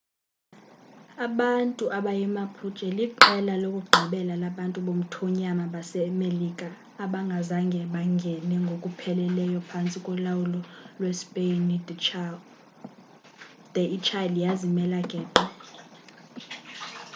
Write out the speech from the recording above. abantu abayimapuche liqela lokugqibela labantu bomthonyama basemelika abangazange bangene ngokupheleleyo phantsi kolawulo lwespeyini de ichile yazimela geqe